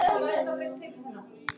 Síðar orti ég annað erindi.